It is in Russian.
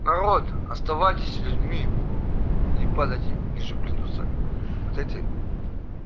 народ оставайтесь людьми не падайте ниже плинтуса вот эти